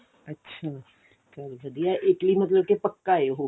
ਅੱਛਾ ਚੱਲ ਵਧੀਆਂ Italy ਚ ਮਤਲਬ ਪੱਕਾ ਹੈ ਉਹ